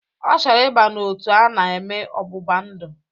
Ọ chọrọ ịba n'otu a na-eme ọgbụgba ndụ